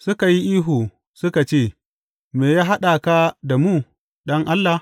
Suka yi ihu suka ce, Me ya haɗa ka da mu, Ɗan Allah?